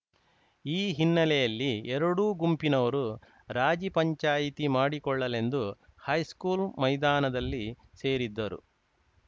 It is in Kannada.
ಈ ಹಿನ್ನೆಲೆಯಲ್ಲಿ ಎರಡೂ ಗುಂಪಿನವರು ರಾಜಿ ಪಂಚಾಯಿತಿ ಮಾಡಿಕೊಳ್ಳಲೆಂದು ಹೈಸ್ಕೂಲ್‌ ಮೈದಾನದಲ್ಲಿ ಸೇರಿದ್ದರು